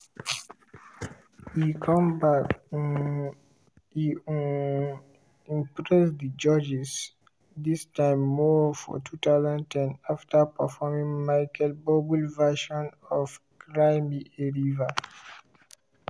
e come back um e um impress di judges dis time more for 2010 after performing michael buble version of cry me a river.